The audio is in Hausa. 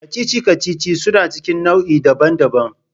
Kacici-kacici suna cikin nau'i daban-daban.